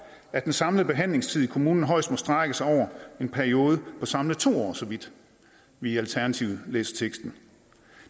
at den samlede behandlingstid i kommunen højst må strække sig over en periode på samlet to år så vidt vi i alternativet læser teksten